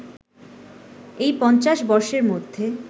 এই পঞ্চাশ বর্ষের মধ্যে